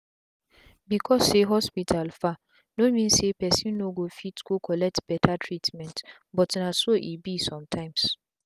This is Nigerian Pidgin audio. becos say hospital far no mean say persin no go fit go collect beta treatment but na so e dey be sum tyms